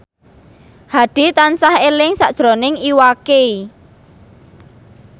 Hadi tansah eling sakjroning Iwa K